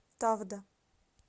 тавда